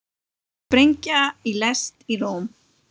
Sprengja í lest í Róm